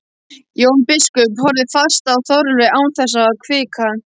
Jón biskup horfði fast á Þorleif án þess að hvika.